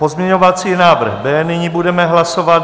Pozměňovací návrh B nyní budeme hlasovat.